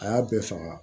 A y'a bɛɛ faga